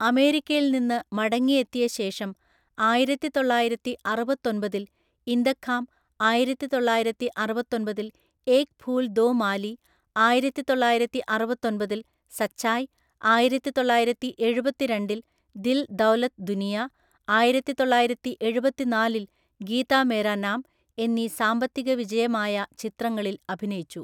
അമേരിക്കയിൽ നിന്ന് മടങ്ങിയെത്തിയ ശേഷം ആയിരത്തിതൊള്ളായിരത്തിഅറുപത്തൊമ്പതില്‍ ഇന്തഖാം, ആയിരത്തിതൊള്ളായിരത്തിഅറുപത്തൊമ്പതില്‍ ഏക് ഫൂൽ ദോ മാലി, ആയിരത്തിതൊള്ളായിരത്തിഅറുപത്തൊമ്പതില്‍ സച്ചായ്, ആയിരത്തിതൊള്ളായിരത്തിഎഴുപത്തിരണ്ടില്‍ ദിൽ ദൌലത് ദുനിയ, ആയിരത്തിതൊള്ളായിരത്തിഎഴുപത്തിനാളില്‍ ഗീത മേരാ നാം എന്നീ സാമ്പത്തികവിജയമായ ചിത്രങ്ങളിൽ അഭിനയിച്ചു.